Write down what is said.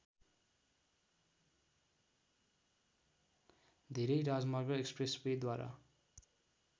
धेरै राजमार्ग एक्स्प्रेसवेद्वारा